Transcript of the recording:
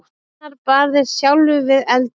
Einar barðist sjálfur við eldinn.